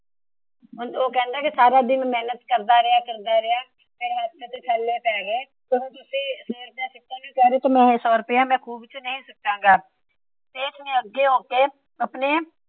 ਉਹ ਕਹਿੰਦਾ ਉਹ ਸਾਰਾ ਦਿਨ ਮੇਹਨਤ ਕਰਦਾ ਕਰਦਾ ਉਸਦੇ ਹੱਥਾਂ ਤੇ ਛਾਲੇ ਪੈ ਗਏ । ਮੈ ਇਹ ਸੋ ਰੁਪਇਆ ਖੂ ਵਿੱਚ ਨਹੀਂ ਸੁੱਟਾਗਾ। ਸੇਠ ਨਾ ਅੱਗੇ ਹੋ ਕੇ ਆਪਣੇ